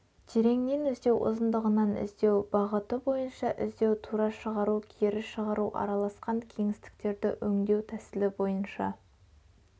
тереңнен іздеу ұзындығынан іздеу бағыты бойынша іздеу тура шығару кері шығару араласқан кеңістіктерді өңдеу тәсілі бойынша